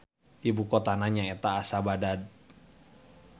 Ibu kotana nyaeta Asadabad.